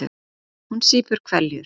Hún sýpur hveljur.